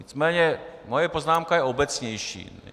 Nicméně moje poznámka je obecnější.